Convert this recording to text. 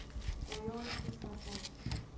Frá Jóni kristjánssyni.